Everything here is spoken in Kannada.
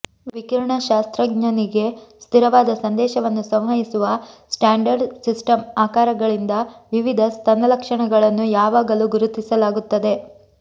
ವಿಕಿರಣಶಾಸ್ತ್ರಜ್ಞನಿಗೆ ಸ್ಥಿರವಾದ ಸಂದೇಶವನ್ನು ಸಂವಹಿಸುವ ಸ್ಟ್ಯಾಂಡರ್ಡ್ ಸಿಸ್ಟಮ್ ಆಕಾರಗಳಿಂದ ವಿವಿಧ ಸ್ತನ ಲಕ್ಷಣಗಳನ್ನು ಯಾವಾಗಲೂ ಗುರುತಿಸಲಾಗುತ್ತದೆ